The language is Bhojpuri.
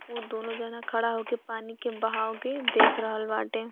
उ दोनों जना खड़ा होके पानी के बहाव के देख रहल बाटे।